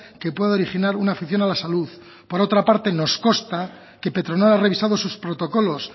que pueda originar una afección a la salud por otro parte nos consta que petronor ha revisado sus protocolos